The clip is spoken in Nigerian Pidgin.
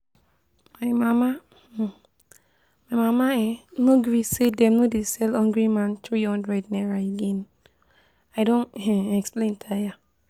My mama um my mama um no gree say dem no dey sell Hungry man three hundred naira again, I don um explain tire